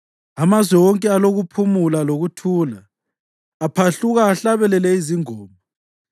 Amazwe wonke alokuphumula lokuthula; aphahluka ahlabelele izingoma.